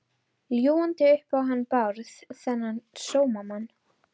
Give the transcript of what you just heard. Ljúgandi upp á hann Bárð, þennan sómamann.